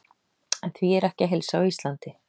En því er ekki að heilsa á Íslandi.